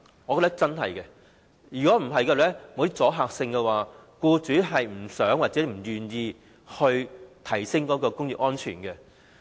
我認為若不推出一些阻嚇性措施，僱主是不願意提升職業安全的。